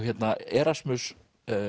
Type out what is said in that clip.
Erasmus